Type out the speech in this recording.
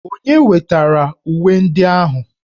Onye wetara uwe ndị ahụ?